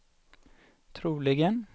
troligen